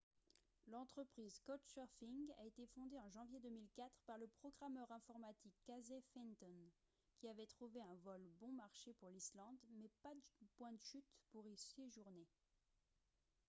l'entreprise couchsurfing a été fondée en janvier 2004 par le programmeur informatique casey fenton qui avait trouvé un vol bon marché pour l'islande mais pas de point de chute pour y séjourner